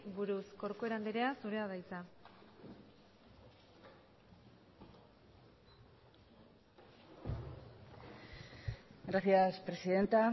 buruz corcuera andrea zurea da hitza gracias presidenta